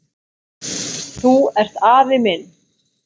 Þú ert afi minn!